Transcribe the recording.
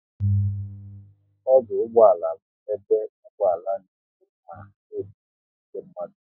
Ọdụ ụgbọala bụ ebe ụgbọala n'eburu ma na ebutu ndị mmadụ